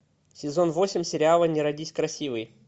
сезон восемь сериала не родись красивой